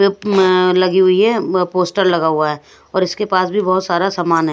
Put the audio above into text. लगी हुई है म पोस्टर लगा हुआ है और इसके पास भी बहुत सारा सामान हैं।